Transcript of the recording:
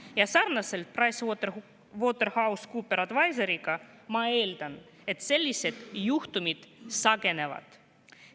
Ja sarnaselt PricewaterhouseCoopers Advisorsiga ma leian, et sellised juhtumid ilmselt sagenevad.